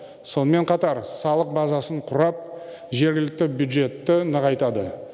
сонымен қатар салық базасын құрап жергілікті бюджетті нығайтады